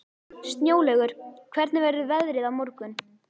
Snjólaugur, hvernig verður veðrið á morgun?